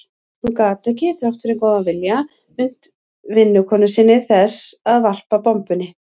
Hún gat ekki, þrátt fyrir góðan vilja, unnt vinnukonu sinni þess að varpa bombunni.